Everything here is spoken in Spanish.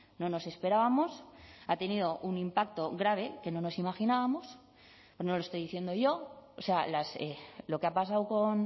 no nos esperábamos ha tenido un impacto grave que no nos imaginábamos pero no le estoy diciendo yo o sea lo que ha pasado con